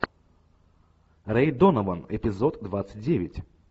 рэй донован эпизод двадцать девять